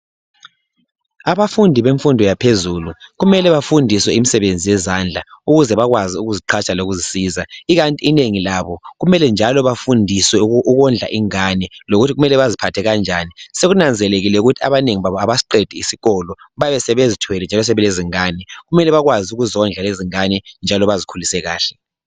Abafundi bemfundo yaphezulu kumele bafundiswe imisebenzi yezandla ukuze bakwazi ukuziqhatsha lokuzisiza. Ikanti inengi labo kumele njalo bafundiswe ukondla ingane lokuthi kumele baziphathe kanjani. Sekunanzelelekile ukuthi abanengi abasiqedi isikolo, bayabe sebezithwele njalo sebelezingane. Kumele bakwazi ukuzondla lezingane njalo bazikhulise kahle.